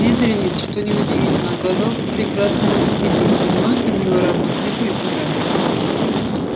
бедренец что неудивительно оказался прекрасным велосипедистом ноги у него работали быстро